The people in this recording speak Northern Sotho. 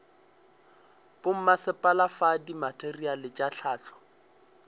bommasepala fa dimateriale tša hlahlo